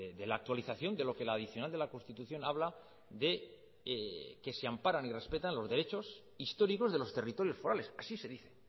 de la actualización de lo que la adicional de la constitución habla de que se amparan y respetan los derechos históricos de los territorios forales así se dice